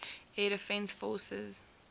air defense forces